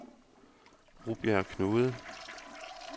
Rubjerg Knude